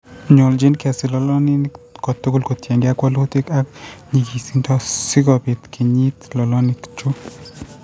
Nyoljin kesir lolonik kotugul kotiengei ak walutik ak nyigisindo si kobiit kenyit lolonik chu.